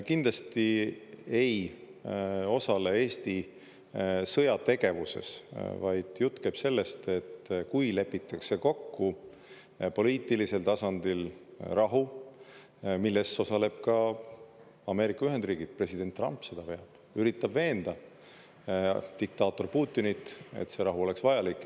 Kindlasti ei osale Eesti sõjategevuses, vaid jutt käib sellest, et kui lepitakse kokku poliitilisel tasandil rahu, milles osaleb ka Ameerika Ühendriigid, president Trump seda veab, üritab veenda diktaator Putinit, et see rahu oleks vajalik.